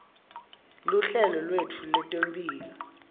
luhlelo lwetfu lwetemphilo